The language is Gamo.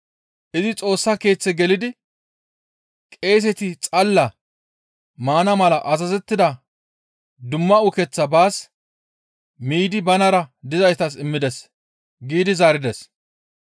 Izi Xoossa Keeththe gelidi qeeseti xalla maana mala azazettida dumma ukeththaa baas miidi banara dizaytas immides» giidi zaarides.